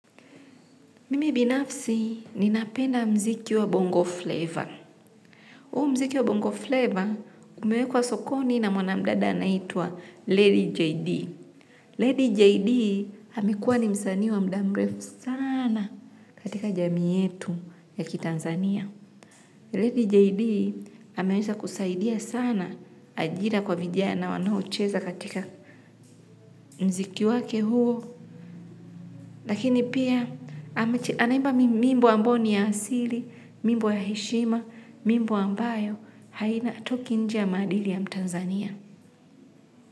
Mimi binafsi ninapenda muziki wa bongo flavor. Huu muziki wa bongo flavor umewekwa sokoni na mwana mdada anaitwa Lady JD. Lady JD. Amekuwa ni msanii wa muda mrefu sana katika jamii yetu ya kiTanzania. Lady JD ameweza kusaidia sana ajira kwa vijana wanaocheza katika muziki wake huo. Lakini pia anaimba mimbo ambayo ni ya asili, mimbo ya heshima, mimbo ambayo haina hatoki nje maadili ya mtanzania.